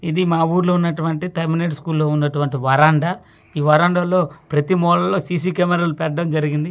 ఇది మా ఊరిలో ఉన్నటువంటి టెర్మినేట్ స్కూల్ లో ఉన్నటువంటి వరండా ఈ వరండా లో ప్రతి ముళ్లలో సి_సి కెమేరా లు పెట్టడం జరిగింది.